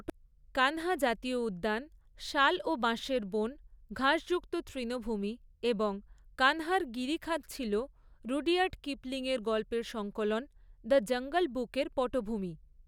কান্হা জাতীয় উদ্যান শাল ও বাঁশের বন, ঘাসযুক্ত তৃণভূমি এবং কানহার গিরিখাত ছিল রুডইয়ার্ড কিপলিংয়ের গল্পের সংকলন ‘দ্য জাঙ্গল বুকের' পটভূমি।